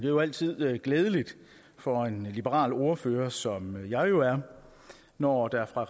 jo altid glædeligt for en liberal ordfører som jeg jo er når der fra